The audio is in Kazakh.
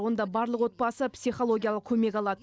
онда барлық отбасы психологиялық көмек алады